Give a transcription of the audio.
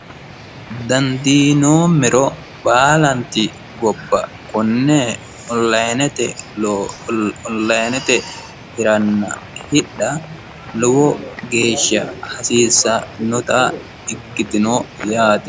dandiinoommero baalanti gobba konne onilinete hiranna hidha lowo geeshsha hasiissannota ikkitino yaate.